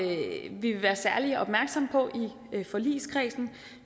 vil være særlig opmærksomme på i forligskredsen